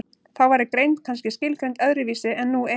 þá væri greind kannski skilgreind öðru vísi en nú er